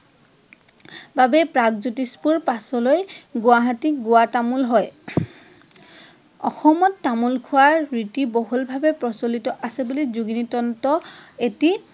বাবে প্ৰাগজ্যোতিষপূৰ পাছলৈ গুৱাহাটী গুৱাতামোল হয়। অসমত তামোল খোৱাৰ ৰীতি বহলভাৱে প্ৰচলিত আছে বুলি যোগিনি তন্ত্ৰ এটি